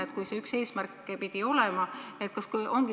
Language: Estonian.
See pidi ju üks eesmärke olema?